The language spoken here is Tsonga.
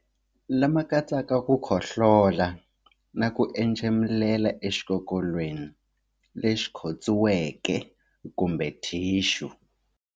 lama katsaka ku khohlola na ku entshemulela exikokolweni lexi khotsiweke kumbe thixu.